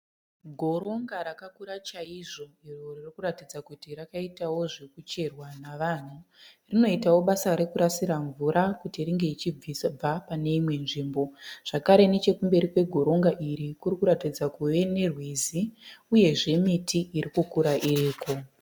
Goronga rakakura chaizvo iro ririkuratidza kuti rakaitao zvekucherwao navanhu, rinoitao basa rekusarira mvura kuti inge ichibva pane imwe nzvimbo. Zvakare nechekumberi kwe goronga iri kurikutaridza kuve ne rwizi uyezve miti irikukura iriko.